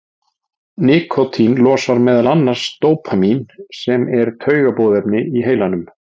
Nikótín losar meðal annars dópamín sem er taugaboðefni í heilanum.